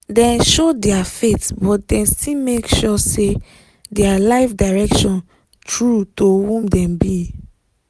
dem show their faith but dem still make sure say their life direction true to who dem be.